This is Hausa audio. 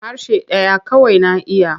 Harshe ɗaya kawai na iya.